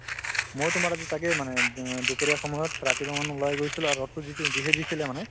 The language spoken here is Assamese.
ময়ো তোমাৰ আজি তাকেই মানে অ দুপৰীয়া সময়ত ৰাতিপুৱা ওলাই গৈছিলো আৰু ৰদতো যিটো যিহে দিছিলে মানে